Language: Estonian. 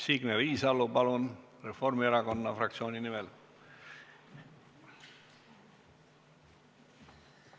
Signe Riisalo, palun, Reformierakonna fraktsiooni nimel!